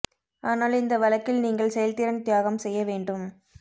ஆனால் இந்த வழக்கில் நீங்கள் செயல்திறன் தியாகம் செய்ய வேண்டும்